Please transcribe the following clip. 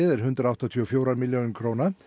er hundrað áttatíu og fjórar milljónir króna